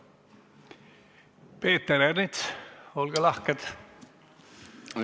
Peeter Ernits, olge lahke!